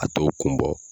A t'o kun bɔ